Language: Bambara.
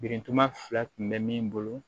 Birintuba fila tun bɛ min bolo